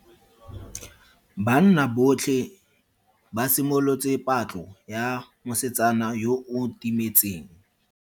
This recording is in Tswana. Banna botlhe ba simolotse patlo ya mosetsana yo o timetseng.